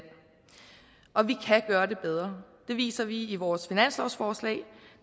og vi kan gøre det bedre det viser vi i vores finanslovsforslag